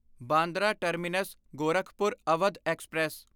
Bandra terminus Gorakhpur Awadh express